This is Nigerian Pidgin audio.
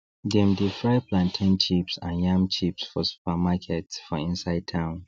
them dey fry plantain chips and yam chips for supermarkets for inside town